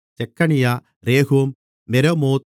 செக்கனியா Rehum Meremoth